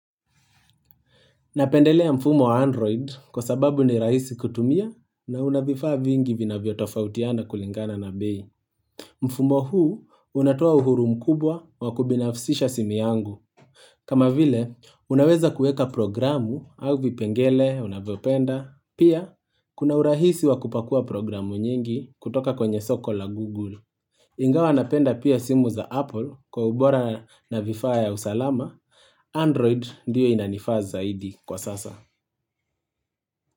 Napendelea mfumo wa Android kwa sababu ni rahisi kutumia na unavifaa vingi vinavyo tofautiana kulingana na bei. Mfumo huu unatua uhuru mkubwa wa kubinafsisha simu yangu. Kama vile, unaweza kueka programu au vipengele, unavyopenda. Pia, kuna urahisi wa kupakua programu nyingi kutoka kwenye soko la Google. Ingawa napenda pia simu za Apple kwa ubora na vifaa ya usalama, Android ndiyo inanifaa zaidi kwa sasa.